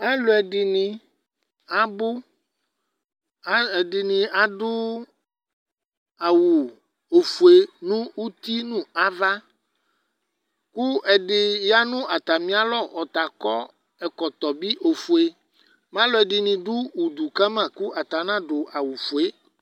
alò ɛdini abò ɛdini adu awu ofue n'uti no ava kò ɛdi ya no atami alɔ ɔta akɔ ɛkɔtɔ bi ofue mɛ alò ɛdini do udu kama kò ata ana du awu ofue yɛ